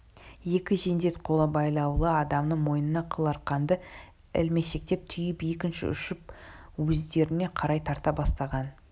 екі жендет қолы байлаулы адамның мойнына қыл арқанды ілмешектеп түйіп екінші ұшын өздеріне қарай тарта бастаған